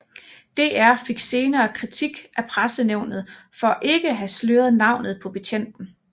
DR fik senere kritik af Pressenævnet for ikke at have sløret navnet på betjenten